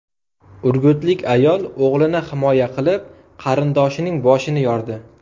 Urgutlik ayol o‘g‘lini himoya qilib, qarindoshining boshini yordi.